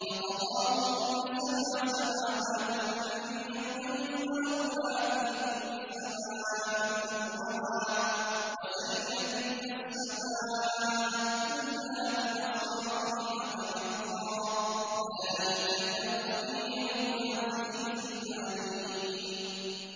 فَقَضَاهُنَّ سَبْعَ سَمَاوَاتٍ فِي يَوْمَيْنِ وَأَوْحَىٰ فِي كُلِّ سَمَاءٍ أَمْرَهَا ۚ وَزَيَّنَّا السَّمَاءَ الدُّنْيَا بِمَصَابِيحَ وَحِفْظًا ۚ ذَٰلِكَ تَقْدِيرُ الْعَزِيزِ الْعَلِيمِ